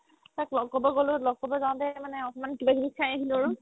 তাক লগ কৰিব গ'লো লগ কৰিব যাওতে মানে অকমাণ কিবা কিবি খাই আহিলো আৰু